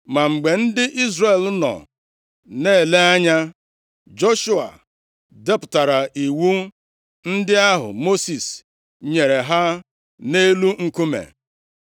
Ma mgbe ndị Izrel nọ na-ele anya, Joshua depụtara iwu ndị ahụ Mosis nyere ha nʼelu nkume.